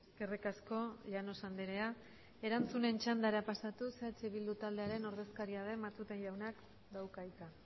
eskerrik asko llanos andrea erantzunen txandara pasatuz eh bildu taldearen ordezkaria den matute jaunak dauka hitza